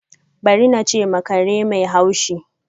Bari! na che ma kare mai hashi.